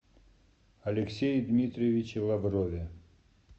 алексее дмитриевиче лаврове